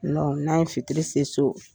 n'an ye fitiri se so